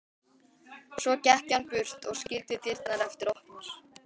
Svo gekk hann burt og skildi dyrnar eftir opnar.